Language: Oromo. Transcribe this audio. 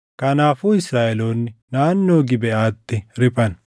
Kanaafuu Israaʼeloonni naannoo Gibeʼaatti riphan.